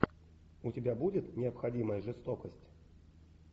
у тебя будет необходимая жестокость